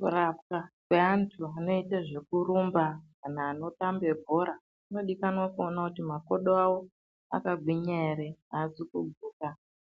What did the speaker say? Kurapwa kwevantu vanoita zvekurumba kana bhora kunodikanwa kuoniwa kuti makodo avo akagwinya ere azi kuguka